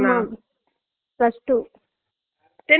ஆய்ருப்பங்க அப்புடி இருக்கறவாங்கலும் tenth